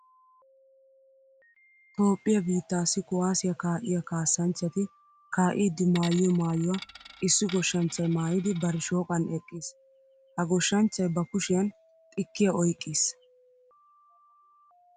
Toophphiya biittaassi kuwaasiya kaa'iya kaassanchchati kaa"iiddi maayiyo maayuwa issi goshshanchchay maayidi bari shooqan eqqiis. Ha goshshanchchay ba kushiyan xikkiya oyqqiis.